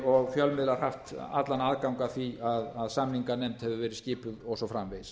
og fjölmiðlar haft allan aðgang að því að samninganefnd hefur verið skipuð og svo framvegis